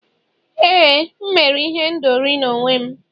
éè, m mere ihendori n'onwe m